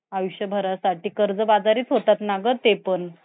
अं job करण्यास